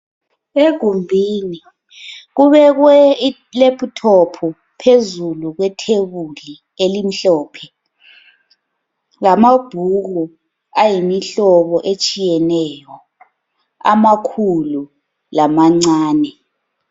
Egumbini kubekwe I laptop phezulu kwe thebuli elimhlophe, lamabhuku ayimihlobo etshiyeneyo, amakhulu lamancane.